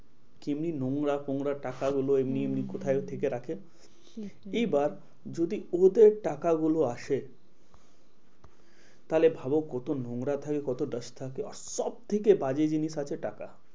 কেমন নোংরা ফোঙরা টাকাগুলো এমনি এমনি হম কোথায় থেকে রাখে। সেটাই এবার যদি ওদের টাকাগুলো আসে, তাহলে ভাবো কত নোংরা থাকে কত dust থাকে। আর সব থেকে বাজে জিনিস আছে টাকা।